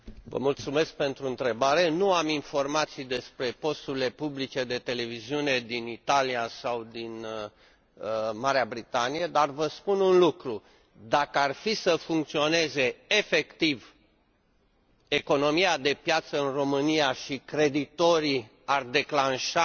Nu am informații despre posturile publice de televiziune din Italia sau din Marea Britanie, dar vă spun un lucru dacă ar fi să funcționeze efectiv economia de piață în România și creditorii ar declanșa